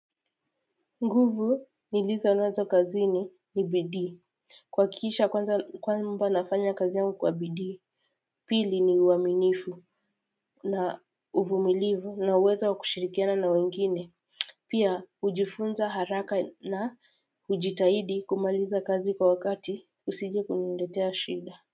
Nguvu nilizonazo kazini ni bidii. Kuhakikisha kwanza kwamba nafanya kazi yangu kwa bidii. Pili ni uaminifu na uvumilivu na uwezo wa kushirikiana na wengine. Pia hujifunza haraka na hujitahidi kumaliza kazi kwa wakati usije kuniletea shida.